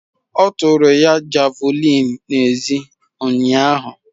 Ọ tụrụ ya Javulinị n'ezie ụnyahụ.